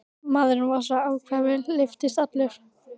Maðurinn var svo ákafur, lyftist allur.